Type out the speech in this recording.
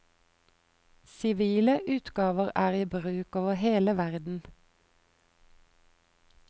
Sivile utgaver er i bruk over hele verden.